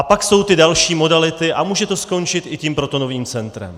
A pak jsou ty další modality a může to skončit i tím protonovým centrem.